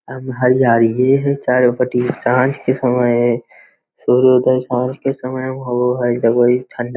अब हरयाली ये है चारों पटी सांझ के समय सूर्योदय सांझ के समय होवो हई तो बड़ी ठंडा --